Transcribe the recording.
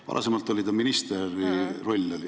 Varem oli see ministri roll.